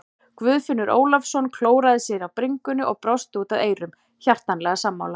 Guðfinnur Ólafsson klóraði sér á bringunni og brosti út að eyrum, hjartanlega sammála.